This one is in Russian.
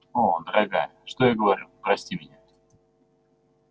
о дорогая что я говорю прости меня